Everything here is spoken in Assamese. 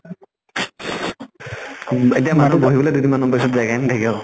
উম এতিয়া মানুহ বিহবলৈ দুই দিন মান পিছত জাগাই নাইকিয়া হব